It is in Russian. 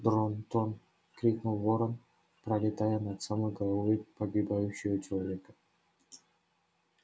дрон-тон крикнул ворон пролетая над самой головой погибающего человека